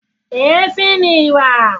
Èéfín ni ìwà.